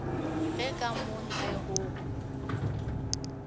ge ka mo ntle go